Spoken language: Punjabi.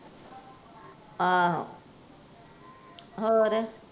ਆਹੋ ਹੋਰ?